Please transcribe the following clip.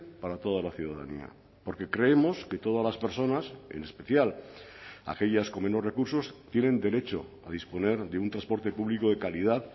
para toda la ciudadanía porque creemos que todas las personas en especial aquellas con menos recursos tienen derecho a disponer de un transporte público de calidad